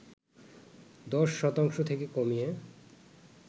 ১০ শতাংশ থেকে কমিয়ে